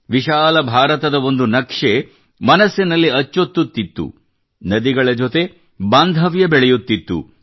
ವಿಶಾಲ ಭಾರತದ ಒಂದು ನಕ್ಷೆ ಮನದಲ್ಲಿ ಅಚ್ಚೊತ್ತುತ್ತಿತ್ತು ನದಿಗಳ ಜೊತೆ ಬಾಂಧವ್ಯ ಬೆಳೆಯುತ್ತಿತ್ತು